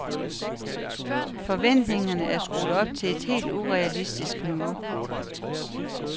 Forventningerne er skruet op til et helt urealistisk niveau.